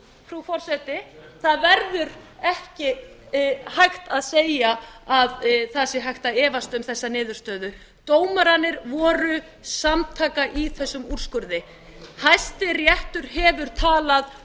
frú forseti það verður ekki hægt að segja að það sé hægt að efast um þessa niðurstöðu dómararnir voru samtaka í þessum úrskurði hæstiréttur hefur talað